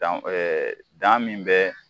Danw dan min bɛ